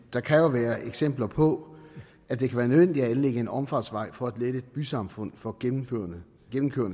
der kan være eksempler på at det kan være nødvendigt at anlægge en omfartsvej for at lette et bysamfund for gennemkørende